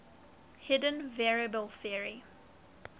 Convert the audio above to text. hidden variable theory